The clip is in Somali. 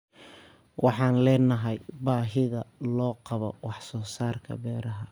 Waxaan leenahay baahida loo qabo wax soo saarka beeraha.